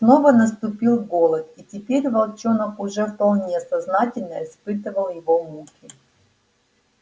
снова наступил голод и теперь волчонок уже вполне сознательно испытывал его муки